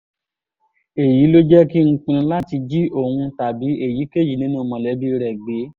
èyí ló jẹ́ kí n pinnu láti jí òun tàbí èyíkéyìí nínú mọ̀lẹ́bí rẹ̀ gbé